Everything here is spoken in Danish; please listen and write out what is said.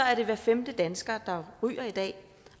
er det hver femte dansker der ryger i dag